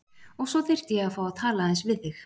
Og svo þyrfti ég að fá að tala aðeins við þig.